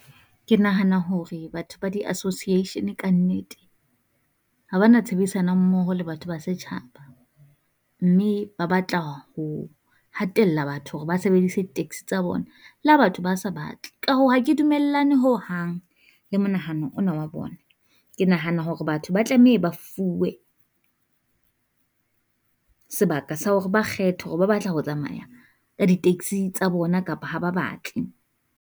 Ke nahana hore batho ba di association kannete ha ba na tshebedisano mmoho le batho ba setjhaba, mme ba batla ho hatella batho hore ba sebedise di taxi tsa bona la batho ba sa batle. Ka hoo ha ke dumellane ho hang le monahano ona wa bona, ke nahana hore batho ba tlamehe ba fuwe sebaka sa hore ba kgethe hore ba batla ho tsamaya ka di taxi-ng tsa bona kapa ha ba batle.